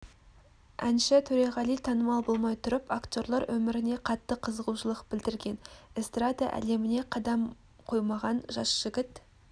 әнші төреғали танымал болмай тұрып актерлер өміріне қатты қызығушылық білдірген эстрада әлеміне қадам қоймаған жас жігіт